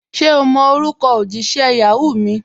Ṣẹ̀ o mọ̀ orúkọ̀ ojísẹ̀ Yahoo mi?